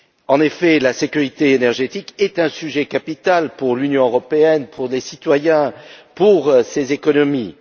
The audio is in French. En effet, la sécurité énergétique est un sujet capital pour l'Union européenne, pour ses citoyens et pour ses économies.